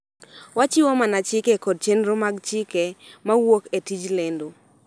Wachiwo mana chike kod chenro mag chike ma wuok e tij lendo.